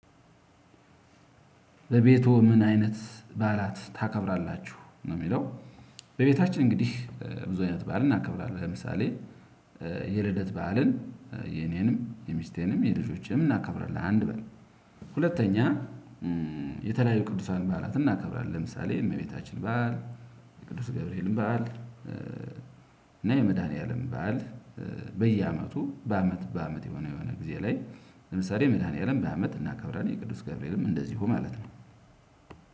በቤቶ ምን አይነት ባዓላት ታከብራላችሁ ነው የሚለው? በቤታችን እንግዲህ ብዙ አይነት በዓል እናከብራለን። ለምሳሌ የልደት በዓልን የኔንም የሚስቴንም የልጆችንም እናከብራለን። አንድ በል። ሁለተኛ የተለያዩ ቅዱሳዊ ባዓላት እናከብራለን። ለምሳሌ እመቤታችን በዓል ቅዱስ ገብርኤልም በዓል እና የመድኃኒዓለም በዓል። በየአመቱ በአመት በአመት የሆነ የሆነ ጊዜ ላይ ለምሳሌ የመድሃኒዓለም በአመት እናከብራለን። የቅዱስ ገብርኤልም እንደዚሁ ማለት ነው።